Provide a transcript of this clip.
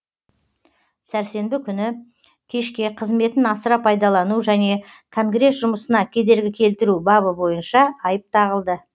сәрсенбі күні кешке қызметін асыра пайдалану және конгресс жұмысына кедергі келтіру бабы бойынша айып тағылды